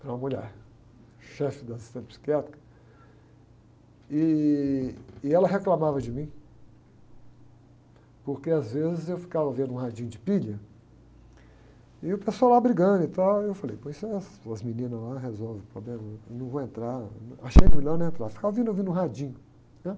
Era uma mulher, chefe da assistência psiquiátrica, ih, e ela reclamava de mim, porque às vezes eu ficava ouvindo um radinho de pilha, e o pessoal lá brigando e tal, aí eu falei, pois é, as meninas lá resolvem o problema, não vou entrar, achei melhor não entrar, ficava ouvindo um radinho.